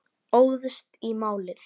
Óðst í málið.